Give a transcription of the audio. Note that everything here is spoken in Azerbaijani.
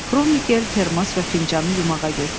Kromikel termos və fincanı yumağa getdi.